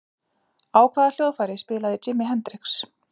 Á hvaða hljóðfæri spilaði Jimi Hendrix?